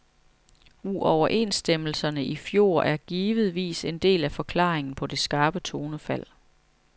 Uoverenstemmelserne i fjor er givetvis en del af forklaringen på det skarpe tonefald.